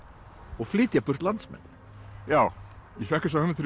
og flytja burt landsmenn já ég fékk þessa hugmynd